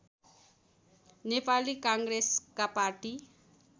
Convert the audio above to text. नेपाली काङ्ग्रेसका पार्टी